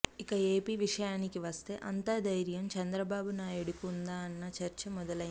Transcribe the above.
ఇక ఏపి విషయానికి వస్తే అంత ధైర్యం చంద్రబాబునాయుడుకు ఉందా అన్న చర్చ మొదలైంది